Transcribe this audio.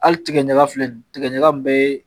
Hali tigɛ ɲaga filɛ nin ye, tigɛ ɲaga in bɛ